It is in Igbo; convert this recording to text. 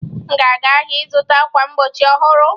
M ga-aga ahịa ịzụta ákwà mgbochi ọhụrụ.